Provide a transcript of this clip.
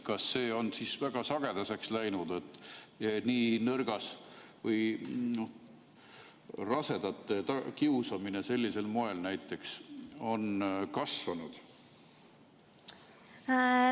Kas see on siis väga sagedaseks läinud, kas rasedate kiusamine sellisel moel näiteks on kasvanud?